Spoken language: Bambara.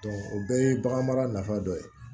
o bɛɛ ye bagan mara nafa dɔ ye